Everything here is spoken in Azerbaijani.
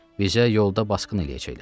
Bizə yolda basqın eləyəcəklər.